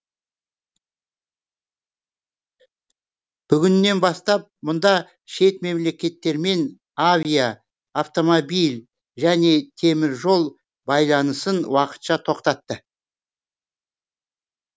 бүгіннен бастап мұнда шет мемлекеттермен авиа автомобиль және темір жол байланысын уақытша тоқтатты